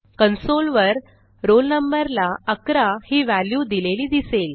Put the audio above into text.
console वर roll number ला 11 ही व्हॅल्यू दिलेली दिसेल